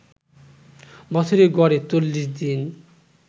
বছরে গড়ে ৪০ দিন